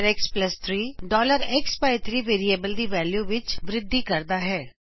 xx3 x by 3ਵੇਰਿਏਬਲ ਦੀ value ਵਿੱਚ ਵ੍ਰਿਧੀ ਕਰਦਾ ਹੈ